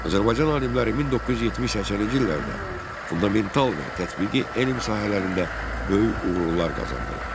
Azərbaycan alimləri 1970-80-ci illərdə fundamental və tətbiqi elm sahələrində böyük uğurlar qazandılar.